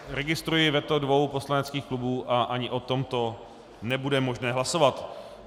Registruji veto dvou poslaneckých klubů a ani o tomto nebude možné hlasovat.